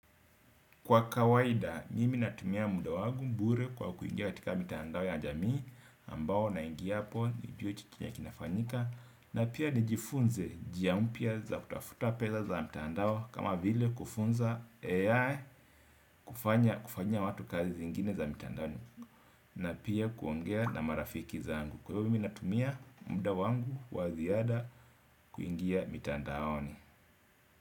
Kwa kawaida, mimi natumia muda wangu mbure kwa kuingia katika mitandao ya jamii ambao na ingia po ni jue chikini ya kinafanyika na pia nijifunze njia mpya za kutafuta pesa za mitandao kama vile kufunza AI kufanya kufanyia watu kazi zingine za mitandaoni na pia kuongea na marafiki zangu. Kwa hivo mimi natumia muda wangu wa ziada kuingia mitandaoni.